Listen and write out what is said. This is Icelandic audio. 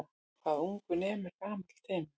Hvað ungur nemur gamall temur.